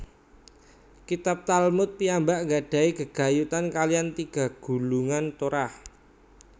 Kitab Talmud piyambak gadahi gegayutan kaliyan tiga gulungan Torah